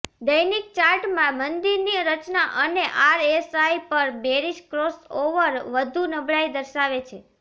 દૈનિક ચાર્ટમાં મંદીની રચના અને આરએસઆઇ પર બેરીસ ક્રોસઓવર વધુ નબળાઈ દર્શાવે છે